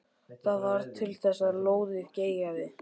Það varð til þess að lóðið geigaði.